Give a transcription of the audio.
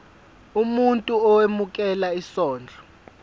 umuntu owemukela isondlo